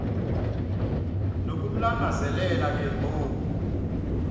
nokumlangazelela ke ngoku